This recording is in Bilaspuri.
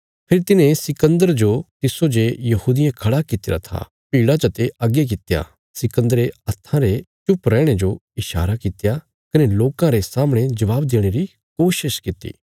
फेरी तिन्हें सिकन्दर जो तिस्सो जे यहूदियें खड़ा कित्तिरा था भीड़ा चते अग्गे कित्या सिकन्दरे हत्थां ने चुप रैहणे जो ईशारा कित्या कने लोकां रे सामणे जवाब देणे री कोशिश कित्ती